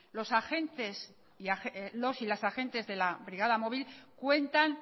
los y las agentes de la brigada móvil cuentan